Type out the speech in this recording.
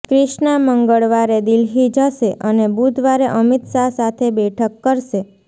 ક્રિષ્ના મંગળવારે દિલ્હી જશે અને બુધવારે અમિત શાહ સાથે બેઠક કરશે